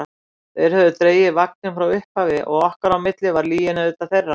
Þeir höfðu dregið vagninn frá upphafi og okkar á milli var lygin auðvitað þeirra.